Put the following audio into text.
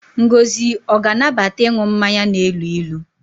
Ngozi ọ ga-anabata ịnụ mmanya na-elu ilu?